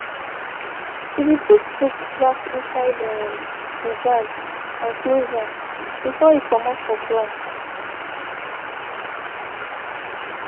she be put books back inside um dey bag and close am before e comot for class.